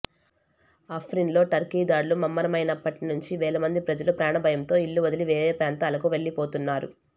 అఫ్రిన్లో Turkey దాడులు ముమ్మరమైనప్పటి నుంచి వేల మంది ప్రజలు ప్రాణభయంతో ఇళ్లు వదిలి వేరే ప్రాంతాలకు వెళ్లిపోతున్నారు